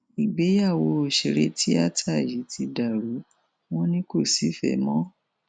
ìgbéyàwó òṣèré tíátà yìí ti dàrú wọn ni kò sífẹẹ mọ